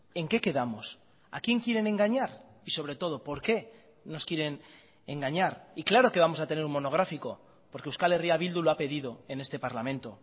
en qué quedamos a quién quieren engañar y sobre todo por qué nos quieren engañar y claro que vamos a tener un monográfico porque euskal herria bildu lo ha pedido en este parlamento